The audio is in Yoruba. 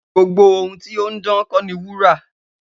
Gbogbo ohun ti ohun dan ko ni wura.